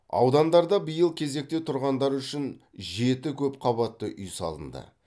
аудандарда биыл кезекте тұрғандар үшін жеті көп қабатты үй салынды